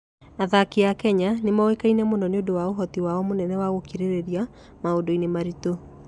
Athaki a Kenya nĩ moĩkaine nĩ ũndũ wa ũhoti wao mũnene wa gũkirĩrĩria maũndũ-inĩ maritũ.